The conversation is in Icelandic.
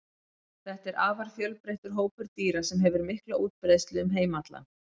Þetta er afar fjölbreyttur hópur dýra sem hefur mikla útbreiðslu um heim allan.